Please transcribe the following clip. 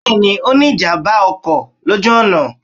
Bẹ́ẹ̀ni, o ní ìjàmbá ọkọ̀ lójú ọ̀nà